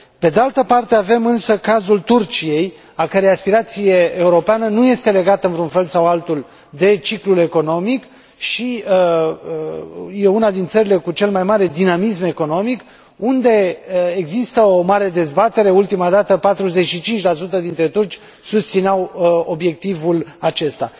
Pe de altă parte avem, însă, cazul Turciei, a cărei aspirație europeană nu este legată într un fel sau altul de ciclul economic și este una din țările cu cel mai mare dinamism economic, unde există o mare dezbatere, ultima dată 45 dintre turci susțineau obiectivul acesta.